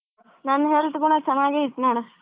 ನನ್ health ಕೂಡಾ ಚೆನ್ನಾಗೆ ಐತ್ ನೋಡು.